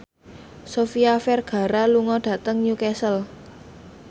Sofia Vergara lunga dhateng Newcastle